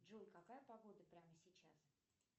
джой какая погода прямо сейчас